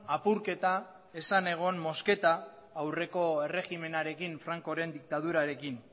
apurketa ez zen egon mozketa aurreko erregimenarekin frankoren diktadurarekin